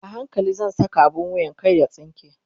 a hankali zan Saka abun wuyan kar ya tsinke